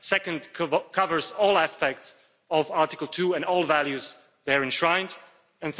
second, covers all aspects of Article 2 and all values enshrined there